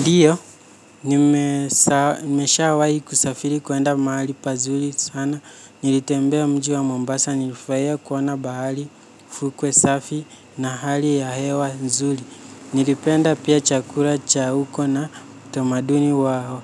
Ndiyo, nimeshawahi kusafiri kuenda mahali pazuri sana. Nilitembea mji wa Mombasa, nilifurahi kuona bahari, fukwe safi na hali ya hewa nzuri. Nilipenda pia chakula cha uko na tamaduni wa